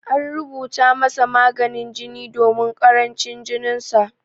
An rubuta masa maganin jini domin karancin jininsa.